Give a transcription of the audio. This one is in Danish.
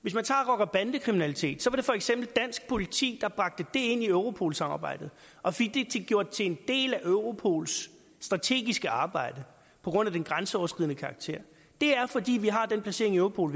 hvis man tager rocker bande kriminalitet var det for eksempel dansk politi der bragte det ind i europol samarbejdet og fik det gjort til en del af europols strategiske arbejde på grund af den grænseoverskridende karakter det er fordi vi har den placering i europol